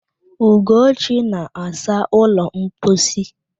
Ugochi na-asa ụlọ mposi.